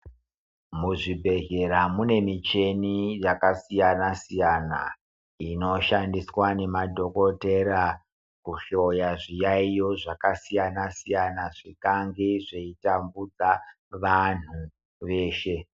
Muzvibhedhera mune michina yakasiyana siyana inoshandiswa nemadhokotera kuhloya zviyaiyo zvakasiyana siyana zvikange zveitambudza vanhu veshe.